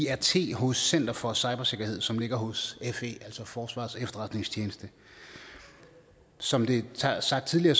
af csirt hos center for cybersikkerhed som ligger hos fe altså forsvarets efterretningstjeneste som det er sagt tidligere